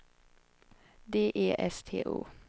D E S T O